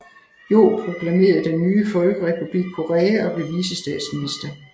Yoh proklamerede den nye Folkerepublik Korea og blev vicestatsminister